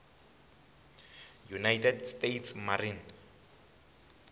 united states marine